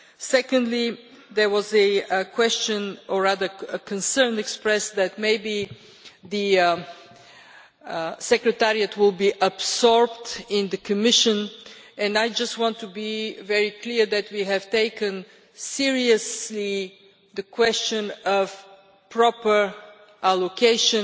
Secondly, there was a question, or rather a concern expressed, that maybe the Secretariat will be absorbed in the Commission, and I just want to be very clear that we have taken seriously the question of proper allocation.